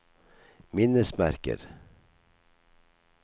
minnesmerker